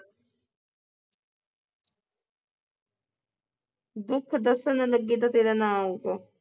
ਦੁੱਖ ਦੱਸਣ ਲੱਗੇ ਤਾਂ ਤੇਰਾ ਨਾਂ ਆਓਗਾ।